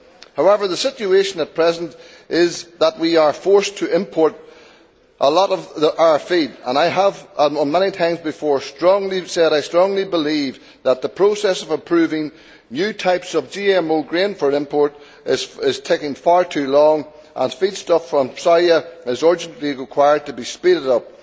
However, the situation at present is that we are forced to import a lot of our feed and I have said many times before that I strongly believe that the process of approving new types of GMO grain for import is taking far too long, and feedstuff from soya urgently requires to be speeded up.